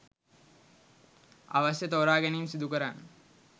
අවශ්‍ය ‍තෝරාගැනීම් සිදුකරන්න.